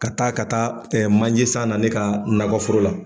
Ka taa ka taa manje san na ne ka nakɔforo la.